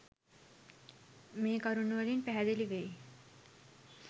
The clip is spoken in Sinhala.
මේ කරුණු වලින් පැහැදිලි වෙයි.